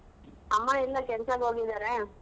ಅಮ್ಮಇಲ್ಲೇ ಕೆಲ್ಸಕ್ ಹೋಗಿದಾರೆ.